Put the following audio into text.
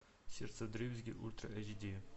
сердце вдребезги ультра эйч ди